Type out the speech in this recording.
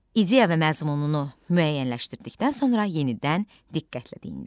İdeya və məzmununu müəyyənləşdirdikdən sonra yenidən diqqətlə dinlə.